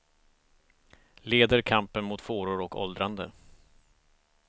Leder kampen mot fåror och åldrande.